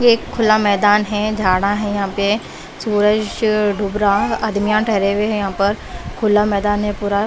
ये एक खुला मैदान है झाड़ा है यहां पे सूरज डूब रहा अदमीया ठहरे हुए हैं यहां पर खुला मैदान है पूरा।